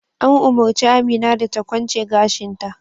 An umurci Amina da ta kwance gashin ta!